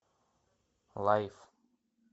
лайф